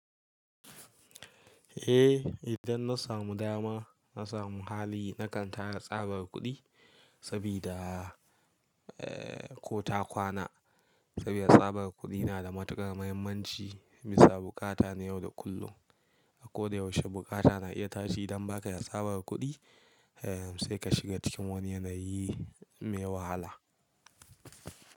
Eh idan na samu dama, na samu hali na kan tanada tsabar kuɗi sabida, ee ko ta kwana. Saboda tsabar kuɗi na da matukar muhimmanci bisa bukata na yau da kullum. A koda yaushe bukata na iya tashi idan ba ka da tsabar kuɗi, ee sai ka shiga cikin wani yanayi me wahala.